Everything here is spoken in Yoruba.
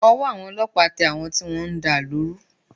Ọwọ́ ọlọ́pàá tẹ àwọn tí wọ́n ń da ìlú rú